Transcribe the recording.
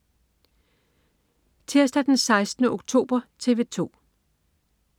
Tirsdag den 16. oktober - TV 2: